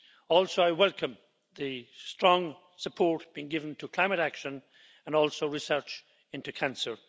Also I welcome the strong support being given to climate action and also research into cancer.